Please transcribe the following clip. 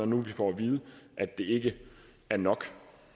nu får at vide at det ikke er nok